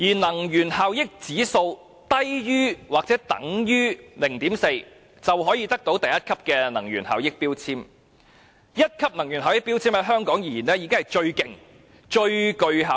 能源效益指數低於或等於 0.4 的產品可獲1級能源標籤，而在香港1級能源標籤已是最好及能源效益最高的級別。